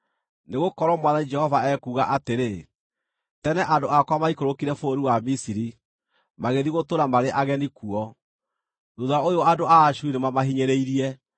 Nĩgũkorwo Mwathani Jehova ekuuga atĩrĩ: “Tene andũ akwa maikũrũkire bũrũri wa Misiri magĩthiĩ gũtũũra marĩ ageni kuo; thuutha ũyũ andũ a Ashuri nĩmamahinyĩrĩirie.”